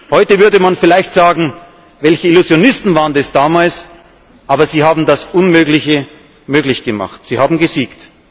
Heute würde man vielleicht sagen Welche Illusionisten waren das damals? Aber sie haben das Unmögliche möglich gemacht, sie haben gesiegt.